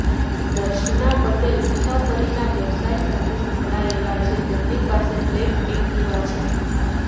દર્શના પટેલ મુસાફરીના વ્યવસાય સાથે સંકળાયેલા છે તેમની પાસે બ્લેક એક્ટિવા છે